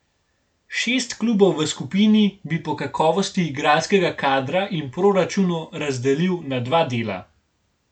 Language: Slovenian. Šest klubov v skupini bi po kakovosti igralskega kadra in proračunu razdelil na dva dela.